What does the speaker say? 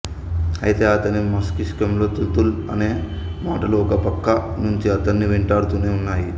అయితే అతని మస్తిష్కంలో తుతుల్ అన్న మాటలు ఒక ప్రక్క నుంచి అతన్ని వెంటాడుతూనే ఉన్నాయి